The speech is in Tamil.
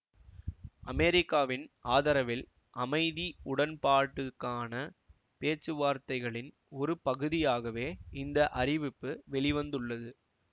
அமெரிக்காவின் ஆதரவில் அமைதி உடன்பாட்டுக்கான பேச்சுவார்த்தைகளின் ஒரு பகுதியாகவே இந்த அறிவிப்பு வெளி வந்துள்ளது